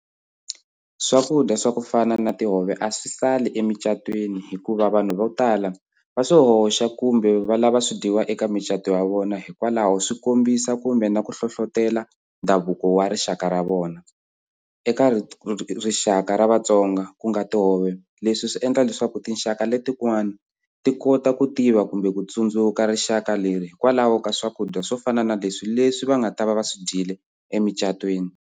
Swakudya swa ku fana na tihove a swi sali emucatwini hikuva vanhu vo tala va swi hoxa kumbe va lava swi dyiwa eka mucato wa vona hikwalaho swi kombisa kumbe na ku hlohlotelo ndhavuko wa rixaka ra vona eka rixaka ra Vatsonga ku nga tihove leswi swi endla leswaku tinxaka letin'wani ti kota ku tiva kumbe ku tsundzuka rixaka leri hikwalaho ka swakudya swo fana na leswi leswi va nga ta va va swi dyile emucatwini.